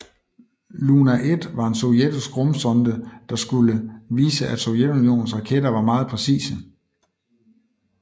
Luna 1 var en sovjetisk rumsonde der skulle vise at Sovjetunionens raketter var meget præcise